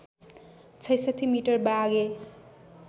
६६ metre Bagh-e